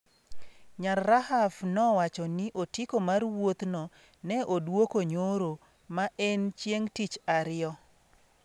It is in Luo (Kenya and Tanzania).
Nyar Rahaf nowacho ni otiko mar wuothno ne odwoko nyoro, ma en chieng’ tich ariyo.